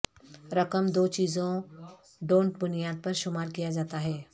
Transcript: رقم دو چیزوں ڈونٹ بنیاد پر شمار کیا جاتا ہے